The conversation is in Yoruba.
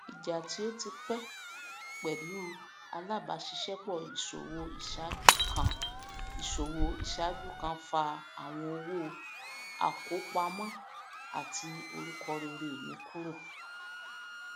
ìjà tí ó ti pé pẹlú um alábàáṣiṣẹpọ íṣòwò iṣáájú kan íṣòwò iṣáájú kan fa àwọn owó àkópamọ àti um orúkọ rere mi kúrò